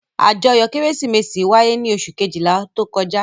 Àjọyọ̀ Kérésìmesì wáyé ní oṣù kejìlá tó kọjá.